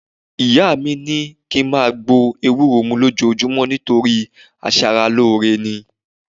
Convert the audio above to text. Ìyá mi ni ki n máa gbó ewúro mú lójoojúmọ́ nítorí aṣaralóore ni